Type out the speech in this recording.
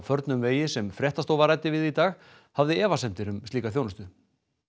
förnum vegi sem fréttastofa ræddi við í dag hafði efasemdir um slíka þjónustu